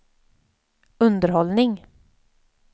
underhållning